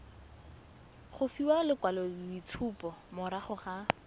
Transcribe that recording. go fiwa lekwaloitshupo morago ga